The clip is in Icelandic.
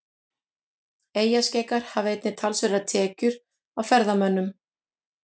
Eyjaskeggjar hafa einnig talsverðar tekjur af ferðamönnum.